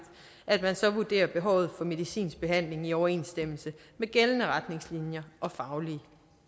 at man så vurderer behovet for medicinsk behandling i overensstemmelse med gældende retningslinjer og faglige